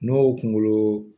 N'o kunkolo